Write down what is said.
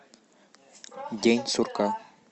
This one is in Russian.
день сурка